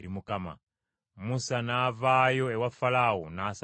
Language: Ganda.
Musa n’avaayo ewa Falaawo, n’asaba Mukama .